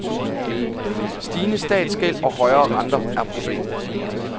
Stigende statsgæld og højere renter er problemet.